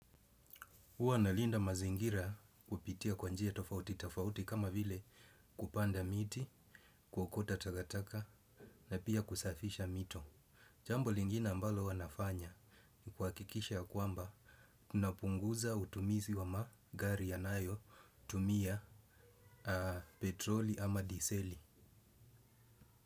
Uwa nalinda mazingira kupitia kwa njia tafauti tafauti kama vile kupanda miti, kuokota takataka na pia kusafisha mito. Jambo lingine ambalo huwa nafanya ni kuakikisha ya kwamba tunapunguza utumizi wa magari yanayo tumia petroli ama diseli.